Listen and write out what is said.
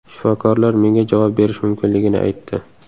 Shifokorlar menga javob berish mumkinligini aytdi.